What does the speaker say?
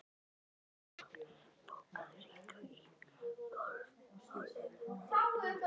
Ingisól, bókaðu hring í golf á laugardaginn.